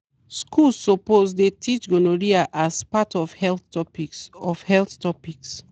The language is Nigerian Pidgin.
schools suppose dey teach gonorrhea as part of health topics. of health topics.